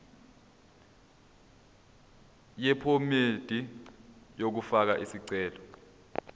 yephomedi yokufaka isicelo